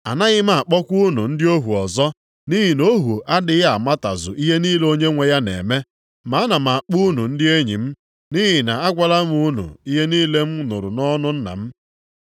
Anaghị m akpọkwa unu ndị ohu ọzọ. Nʼihi na ohu adịghị amatazu ihe niile onyenwe ya na-eme. Ma ana m akpọ unu ndị enyi m nʼihi na agwala m unu ihe niile m nụrụ nʼọnụ Nna m.